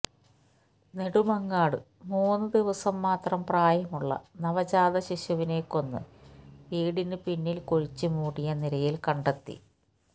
നെടുമങ്ങാട് മൂന്ന് ദിവസം മാത്രം പ്രായമുള്ള നവജാത ശിശുവിനെ കൊന്ന് വീടിന് പിന്നില് കുഴിച്ചുമൂടിയ നിലയില് കണ്ടെത്തി